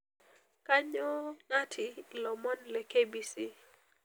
Kanyoo natii ilomon le KBC